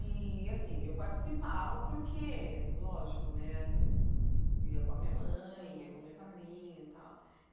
E, assim, eu participava porque, lógico né, eu ia com a minha mãe, ia com o meu padrinho e tal.